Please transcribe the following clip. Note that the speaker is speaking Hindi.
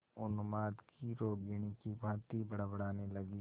उन्माद की रोगिणी की भांति बड़बड़ाने लगी